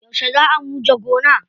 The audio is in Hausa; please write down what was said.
Yauce zaa muje gona?